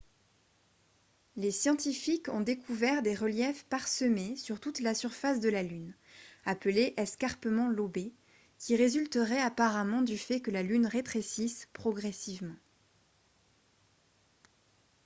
les scientifiques ont découvert des reliefs parsemés sur toute la surface de la lune appelés escarpements lobés qui résulteraient apparemment du fait que la lune rétrécisse progressivement